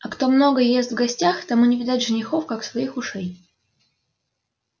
а кто много ест в гостях тому не видать женихов как своих ушей